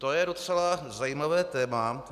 To je docela zajímavé téma.